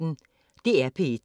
DR P1